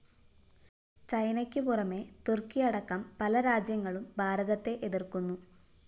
ചൈനയ്ക്കു പുറമെ തുര്‍ക്കിയടക്കം പല രാജ്യങ്ങളും ഭാരതത്തെ എതിര്‍ക്കുന്നു